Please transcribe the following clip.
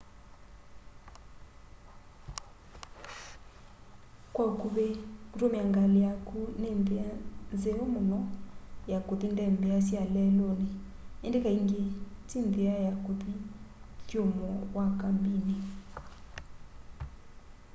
kwa ũkuvĩ kũtũmĩa ngalĩ yaku nĩ nthĩa nzeo mũno ya kũthi ndembea sya lelũnĩ ĩndĩ kaingĩ ti nthĩa ya kũthi ũthũmũo wa kambinĩ